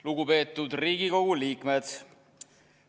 Lugupeetud Riigikogu liikmed!